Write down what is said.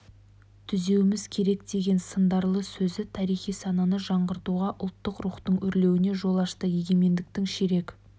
түзеуіміз керек деген сындарлы сөзі тарихи сананы жаңғыртуға ұлттық рухтың өрлеуіне жол ашты егемендіктің ширек